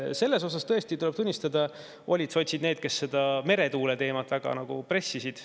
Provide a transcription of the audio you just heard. Selles osas tuleb tõesti tunnistada, et sotsid olid need, kes meretuuleteemat väga pressisid.